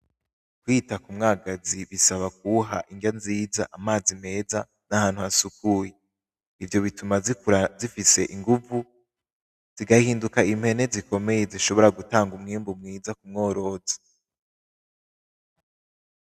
Kwita k’umwagazi bisaba kuwuha inrya nziza, amazi meza n’ahantu hasukuye. Ivyo bituma zikura zifise inguvu, zigahinduka impene zikomeye zishobora gutanga umwimbu mwiza k’umworozi.